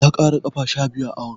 Ya ƙara ƙafa sha biyu a awon.